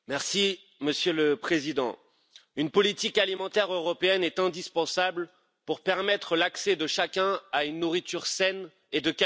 Monsieur le Président, une politique alimentaire européenne est indispensable pour permettre l'accès de chacun à une nourriture saine et de qualité.